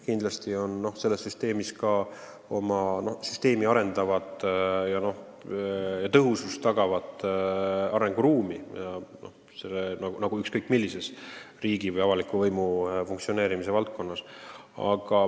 Kindlasti on ka sellel süsteemil arenguruumi, kindlasti saaks seda arendada ja tõhusamaks muuta nagu ükskõik mis süsteemi riigi või avaliku võimu funktsioneerimise valdkonnas.